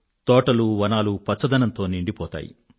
తోటలువనాలు పచ్చదనంతో నిండిపోతాయి